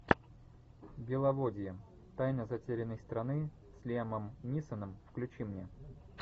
беловодье тайна затерянной страны с лиамом нисоном включи мне